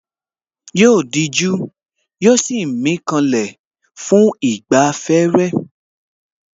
Yóò dijú àti mí kanlẹ̀ fún ìgbafẹ́